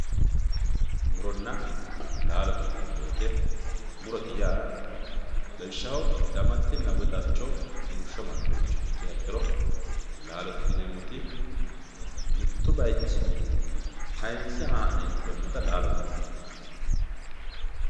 muronna laalote yineemmo woyiite murote yaa damatte woye darcho rumushsho amandoha ikkiro laalote yaa mittu bayeechinni tayiinse haa"ne inteemmota laalote yinanni